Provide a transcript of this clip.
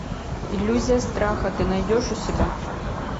иллюзия страха ты найдешь у себя